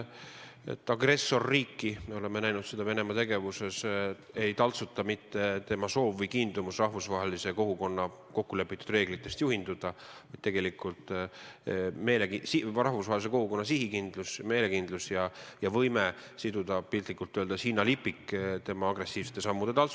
Agressorriiki – me oleme seda Venemaa tegevuse puhul näinud – ei taltsuta mitte tema soov või kiindumus rahvusvahelise kogukonna kokkulepitud reeglitest juhinduda, vaid tegelikult rahvusvahelise kogukonna sihikindlus, meelekindlus ja võime siduda piltlikult öeldes hinnalipik tema agressiivsete sammude külge.